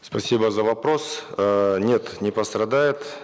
спасибо за вопрос эээ нет не пострадает